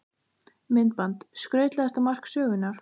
Myndband: Skrautlegasta mark sögunnar?